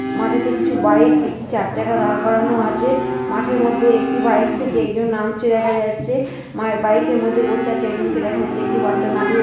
মাঠেতে কিছু বাইক একটি চারচাকা দাঁড় করানো আছে । মাঠের মধ্যে একটি বাইক থেকে একজন নামছে দেখা যাচ্ছে। মার বাইকের মধ্যে বসে আছে একজনকে দেখা যাচ্ছে। একটি বাচ্চা গাড়িও --